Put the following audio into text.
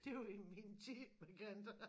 Det var i min tid med kantareller